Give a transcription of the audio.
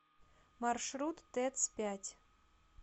маршрут тэц пять